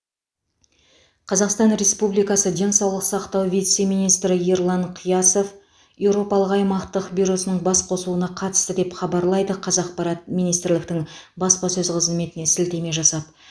қазақстан республикасы денсаулық сақтау вице министрі ерлан қиясов еуропалық аймақтық бюросының басқосуына қатысты деп хабарлайды қазақпарат министрліктің баспасөз қызметіне сілтеме жасап